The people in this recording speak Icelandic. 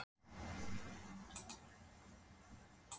Hafsteinn Hauksson: En er málinu þar með lokið í ykkar huga?